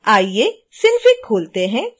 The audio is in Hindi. आइये synfig खोलते हैं